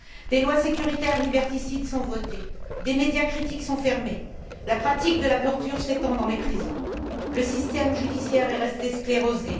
Des lois sécuritaires liberticides sont votées, des médias critiques sont fermés, la pratique de la torture s'étend dans les prisons, le système judiciaire est resté sclérosé.